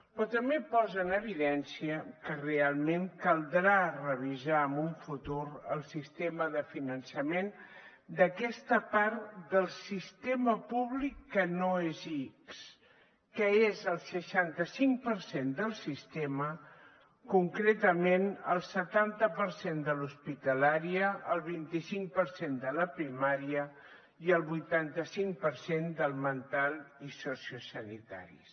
però també posa en evidència que realment caldrà revisar en el futur el sistema de finançament d’aquesta part del sistema públic que no és ics que és el seixanta cinc per cent del sistema concretament el setanta per cent de l’hospitalària el vint cinc per cent de la primària i el vuitanta cinc per cent del mental i sociosanitaris